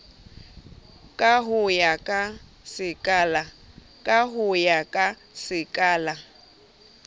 ka ho ya ka sekala